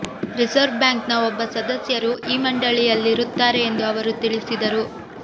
reserve ಬ್ಯಾಂಕ್ನ ಒಬ್ಬ ಸದಸ್ಯರು ಈ ಮಂಡಳಿಯಲ್ಲಿರುತ್ತಾರೆ ಎಂದು ಅವರು ತಿಳಿಸಿದರು